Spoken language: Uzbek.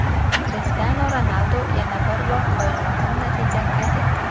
Krishtianu Ronaldu yana bir qoyilmaqom natija qayd etdi.